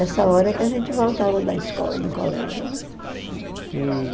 Essa hora que a gente voltava da escola, do colégio. E...